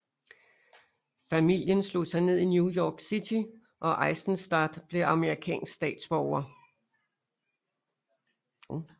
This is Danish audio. Familien slog sig ned i New York City og Eisenstaedt blev amerikansk statsborger